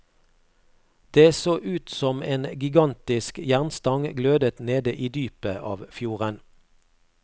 Det så ut som en gigantisk jernstang glødet nede i dypet av fjorden.